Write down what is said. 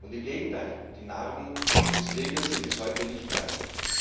Im Gegenteil, die Narben des Krieges sind bis heute nicht verheilt.